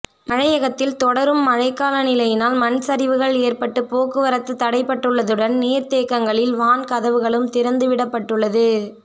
மலையகத்தில் தொடரும் மழை கால நிலையினால் மண்சரிவுகள் ஏற்பட்டு போக்குவரத்து தடைப்பட்டுள்ளதுடன் நீர்தேக்கங்களில் வாண் கதவுகளும் திறந்து விடப்பட்டுள்ளது